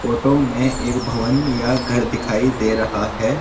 Photo में एक भवन या घर दिखाई दे रहा है।